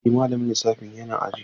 Eh, malamin lissafi yana aji.